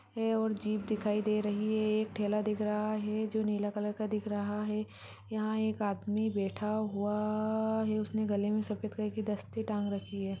है और जीप दिखाई दे रही है एक ठेला दिख रहा है जो नीला कलर का दिख रहा है यहाँ एक आदमी बेठा हुआ है उसने गले मे सफ़ेद कलर की दस्ती टांग रखी है ।